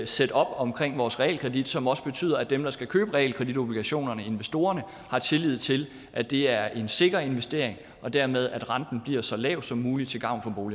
setup omkring vores realkredit som også betyder at dem der skal købe realkreditobligationerne investorerne har tillid til at det er en sikker investering og dermed at renten bliver så lav som mulig til gavn